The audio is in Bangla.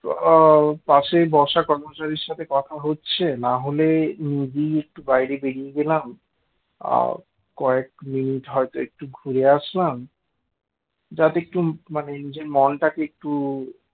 তো ওই পাশেই বসা কর্মচারীর সাথে কথা হচ্ছে না হলে নিজেই একটু বাইরে বেরিয়ে গেলাম আ কয়েক মিনিট হয়তো একটু ঘুরে আসলাম যাতে একটু মানে নিজের মনটাকে একটু